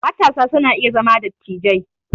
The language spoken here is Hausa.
Matasa su na iya zama dattijai